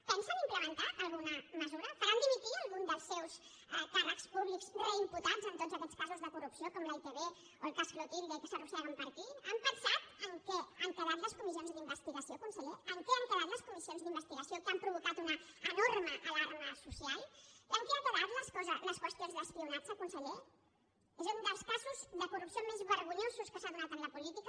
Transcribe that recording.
pensen implementar alguna mesura faran dimitir algun dels seus càrrecs públics reimputats en tots aquests casos de corrupció com la itv o el cas clotilde que s’arrosseguen per aquí han pensat en què han quedat les comissions d’investigació conseller en què han quedat les comissions d’investigació que han provocat una enorme alarma social en què han quedat les qüestions d’espionatge conseller és un dels casos de corrupció més vergonyosos que s’han donat en la política